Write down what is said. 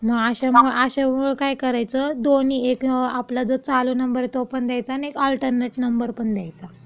मग अशामुळं अशामुळं काय करायचं, दोन्ही एक आपला जो चालू नंबर आहे तो पण द्यायचा, आणि एक अल्टरनेट नंबर पण द्यायचा.